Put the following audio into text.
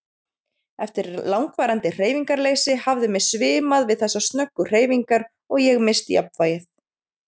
Eftir langvarandi hreyfingarleysi hafði mig svimað við þessar snöggu hreyfingar og ég misst jafnvægið.